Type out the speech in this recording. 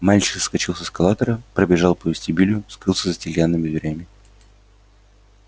мальчик соскочил с эскалатора пробежал по вестибюлю скрылся за стеклянными дверями